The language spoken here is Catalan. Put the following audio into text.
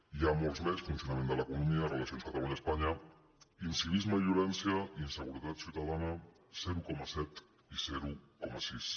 n’hi ha molts més funcionament de l’economia relacions catalunya espanya incivisme i violència inseguretat ciutadana zero coma set i zero coma sis